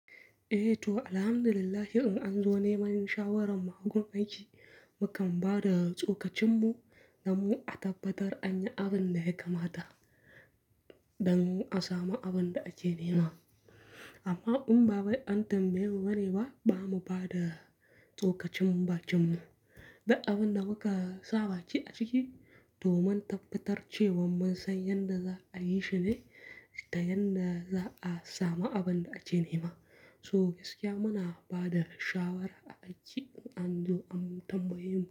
Eh to alhamdulillah in an zo neman shawarar mu agun aiki, mu kan ba da tsokacin mu domin a tabbatar anyi abin da ya kamata, don a samu abin da ake nema. Amma in ba bai an tambayi mu ba ne ba, ba mu ba da tsokacin mu bakinmu. Duk abin da muka saba baki ciki, to mun tabbatar cewan mun san yadda za a yi shi ne, da yanda za a samu abin da ake nema. So gaskiya muna ba da shawara a aiki in an zo an tambaye mu.